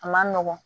A man nɔgɔn